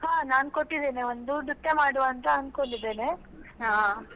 ಹಾ ನಾನು ಒಂದು ನೃತ್ಯ ಮಾಡ್ವಾ ಅಂತ ಅನ್ಕೊಂಡಿದ್ದೇನೆ.